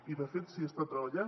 i de fet s’hi està treballant